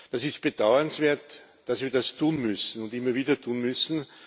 Es ist bedauernswert, dass wir das tun müssen und immer wieder tun müssen.